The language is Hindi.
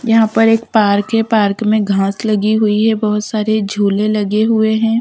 यहाँ पर एक पार्क है पार्क में घांस लगी हुई है बहुत सारे झूले लगे हुए है --